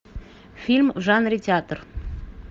фильм в жанре театр